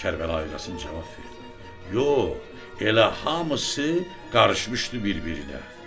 Kərbəlayı Qasım cavab verdi: Yox, elə hamısı qarışmışdı bir-birinə.